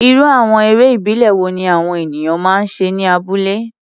Irú àwọn eré ìbílẹ̀ wo ni àwọn ènìyàn máa ń ṣe ní abúlé?